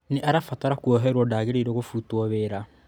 Nĩ arabatara kwoherwo –ndagīrīirwo kũbutwo wĩra